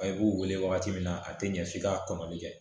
A i b'u wele wagati min na a tɛ ɲɛ f'i ka kɔnɔni kɛ